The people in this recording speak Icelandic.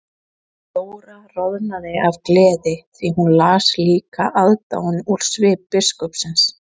Jóra roðnaði af gleði því hún las líka aðdáun úr svip biskupsins.